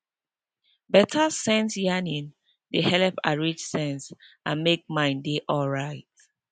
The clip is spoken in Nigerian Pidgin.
better sense yarning dey helep arrange sense and make mind dey alright